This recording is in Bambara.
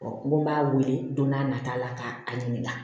n ko n b'a wele don n'a nata la ka a ɲininka